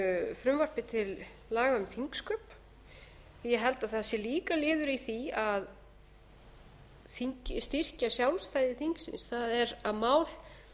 frumvarpi til laga um þingsköp ég held að það sé líka liður í því að styrkja sjálfstæði þingsins það er að mál